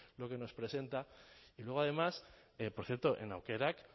lo que nos presenta y luego además por cierto en aukerak